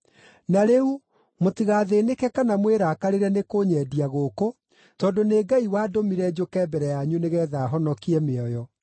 Na rĩu, mũtigathĩĩnĩke kana mwĩrakarĩre nĩkũnyendia gũkũ, tondũ nĩ Ngai wandũmire njũke mbere yanyu nĩgeetha honokie mĩoyo.